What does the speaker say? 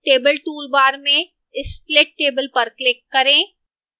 table toolbar में split table पर click करें